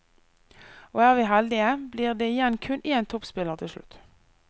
Og er vi heldige, blir det igjen kun én toppspiller til slutt.